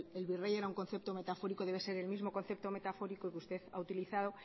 el virrey era un concepto metafórico debe ser el mismo concepto metafórico que usted ha utilizado